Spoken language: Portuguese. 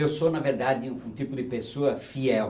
Eu sou, na verdade, um um tipo de pessoa fiel.